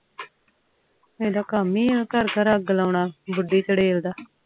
ਏਦਾਂ ਕਾਮ ਏ ਆ ਘਰ ਘਰ ਅੱਗ ਲਆਉਣਾ ਵਾਦੀ ਚੜੇਲ ਦਾ